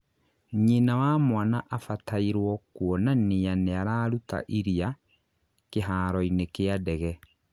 nyina wa mwana abatairwo kũoanania nĩararuta iria" kĩharo-inĩ kia ndege